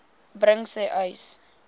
bring sê uys